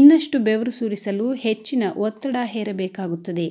ಇನ್ನಷ್ಟು ಬೆವರು ಸುರಿಸಲು ಹೆಚ್ಚಿನ ಒತ್ತಡ ಹೇರಬೇಕಾಗುತ್ತದೆ